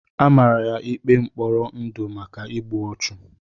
Amara ya ikpe mkpọrọ ndụ maka igbu ọchụ.